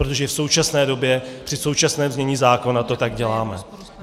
Protože v současné době, při současném znění zákona, to tak děláme.